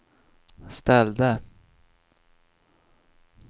ställde